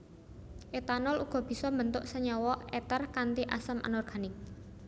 Etanol uga bisa mbentuk senyawa eter kanthi asam anorganik